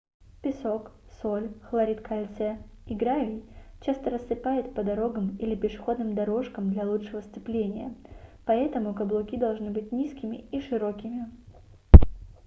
песок соль хлорид кальция и гравий часто рассыпают по дорогам или пешеходным дорожкам для лучшего сцепления. поэтому каблуки должны быть низкими и широкими